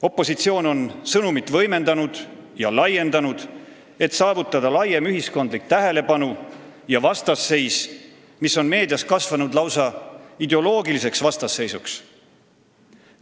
Opositsioon on sõnumit võimendanud ja laiendanud, et saavutada laiem ühiskondlik tähelepanu ja vastasseis, mis on meedias kasvanud lausa ideoloogiliseks vastasseisuks.